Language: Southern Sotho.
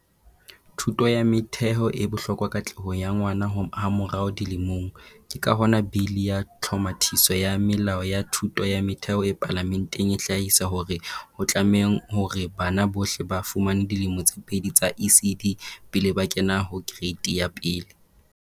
Thuto ya motheo e bohlokwa katlehong ya ngwana hamo rao dilemong, ke ka hona Bili ya Tlhomathiso ya Melao ya Thuto ya Motheo e Palame nteng e hlahisa hore ho tlame hore bana bohle ba fumane dilemo tse pedi tsa ECD pele ba kena ho Kereiti ya 1.